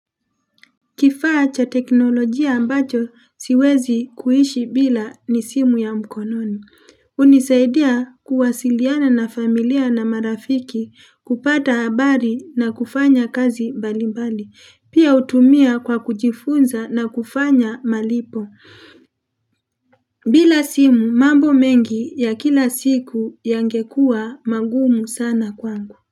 Kifaa cha teknolojia ambacho siwezi kuishi bila ni simu ya mkononi, hunisaidia kuwasiliana na familia na marafiki kupata habari na kufanya kazi mbali mbali, pia hutumia kwa kujifunza na kufanya malipo bila simu mambo mengi ya kila siku yangekuwa mangumu sana kwangu.